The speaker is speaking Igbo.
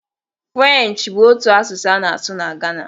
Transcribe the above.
Frenchị bụ otu asụsụ a na-asụ n'Ghana.